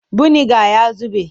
Buniga ya zube.